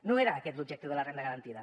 no era aquest l’objectiu de la renda garantida